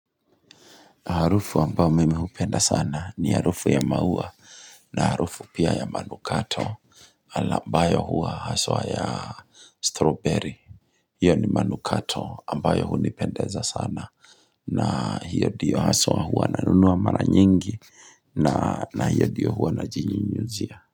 Harufu ambayo mimi hupenda sana ni harufu ya maua na harufu pia ya manukato. Ambayo hua haswa ya strawberry. Hiyo ni manukato ambayo hu nipendeza sana. Na hiyo ndiyo haswa hua na nunua mara nyingi na hiyo ndiyo hua na jinyinyuzia.